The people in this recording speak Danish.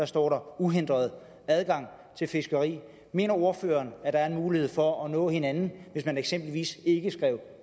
står der uhindret adgang til fiskeri mener ordføreren at der er en mulighed for at nå hinanden hvis man eksempelvis ikke skrev